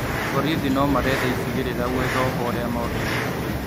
Borithi nomaretha icigĩrĩra gũetha ohwo arĩa morĩte